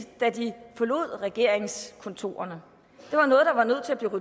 da de forlod regeringskontorerne